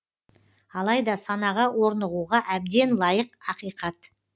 алайда санаға орнығуға әбден лайық ақиқат